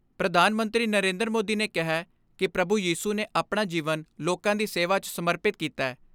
ਪ੍ਰਧਾਨ ਮੰਤਰੀ ਨਰੇਂਦਰ ਮੋਦੀ ਨੇ ਕਿਹੈ ਕਿ ਪ੍ਰਭੂ ਯੀਸੂ ਨੇ ਆਪਣਾ ਜੀਵਨ ਲੋਕਾਂ ਦੀ ਸੇਵਾ 'ਚ ਸਮਰਪਿਤ ਕੀਤੈ।